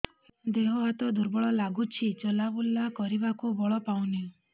ଦେହ ହାତ ଦୁର୍ବଳ ଲାଗୁଛି ଚଲାବୁଲା କରିବାକୁ ବଳ ପାଉନି